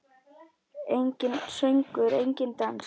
Enginn söngur, enginn dans.